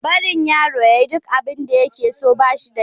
Barin yaro ya yi duk abinda ya ke so, ba shi da kyau.